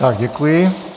Tak děkuji.